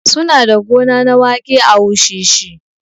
Su na da gona na waƙe a wushishi